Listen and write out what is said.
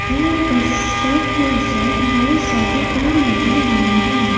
और बस टॉप के उस साइड बहोत सारे पेड़ लगे हुए हैं।